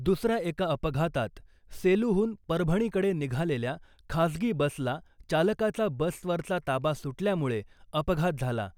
दुसऱ्या एका अपघातात सेलूहून परभणीकडे निघालेल्या खाजगी बसला चालकाचा बसवरचा ताबा सुटल्यामुळे अपघात झाला .